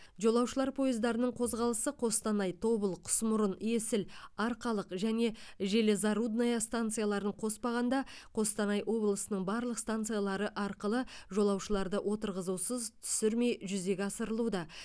жолаушылар пойыздарының қозғалысы қостанай тобыл құсмұрын есіл арқалық және железорудная станцияларын қоспағанда қостанай облысының барлық станциялары арқылы жолаушыларды отырғызусыз түсірмей жүзеге асырылуда